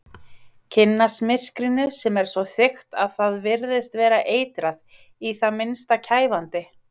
Kynnast myrkrinu sem er svo þykkt að það virðist vera eitrað, í það minnsta kæfandi.